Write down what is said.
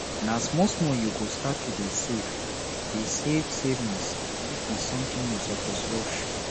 na small small you go start to dey save dey save saving no be something you suppose rush